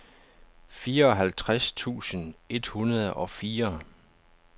fireoghalvtreds tusind et hundrede og fire